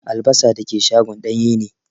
Albasa dake shagon danye ne.